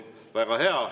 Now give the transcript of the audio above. Väga hea.